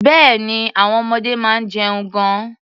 Bẹ́ẹ̀ni, àwọn ọmọdé máa ń jẹun gan-an.